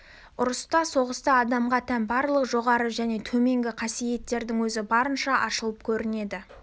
ұрыста соғыста адамға тән барлық жоғары және төменгі қасиеттердің өзі барынша ашылып көрінеді